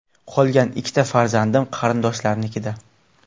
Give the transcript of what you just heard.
Qolgan ikki farzandim qarindoshlarnikida.